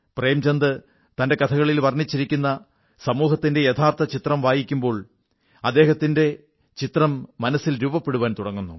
പ്രേംചന്ദ് തന്റെ കഥകളിൽ വർണ്ണിച്ചിരിക്കുന്ന സമൂഹത്തിന്റെ യഥാർഥ ചിത്രം വായിക്കുമ്പോൾ അദ്ദേഹത്തിന്റെ ചിത്രം മനസ്സിൽ രൂപപ്പെടുവാൻ തുടങ്ങുന്നു